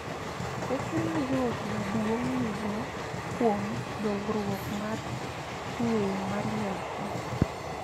Teko ma joot maduong� nigo kuom dongruok mar ng�eyo mar nyathi